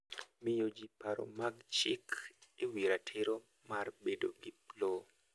Miyo ji paro mag chik e wi ratiro mar bedo gi lowo.